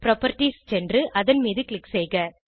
properties சென்று அதன் மீது க்ளிக் செய்க